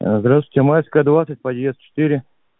ээ здравствуйте майская двадцать подъезд четыре